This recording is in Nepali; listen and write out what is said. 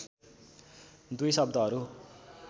दुई शब्दहरू